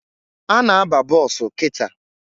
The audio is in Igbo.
Ana aba bọsụ kịta